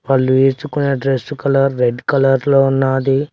వాళ్ళు వేసుకున్న dress colour red colour లో ఉన్నాది.